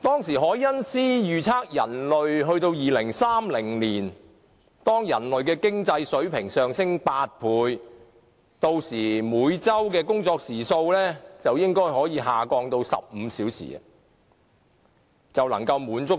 當時凱因斯預測，到了2030年，當人類的經濟水平上升8倍，屆時每周工作時數應可下降至15小時，已能滿足